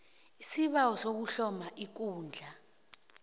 isibawo sokuhloma ikundla